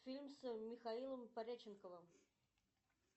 фильм с михаилом пореченковым